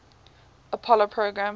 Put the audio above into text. apollo program